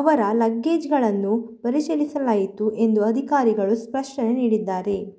ಅವರ ಲಗೇಜ್ಗಳನ್ನು ಪರಿಶೀಲಿಸಲಾಯಿತು ಎಂದು ಅಧಿಕಾರಿಗಳು ಸ್ಪಷ್ಟನೆ ನೀಡಿದ್ದಾರೆ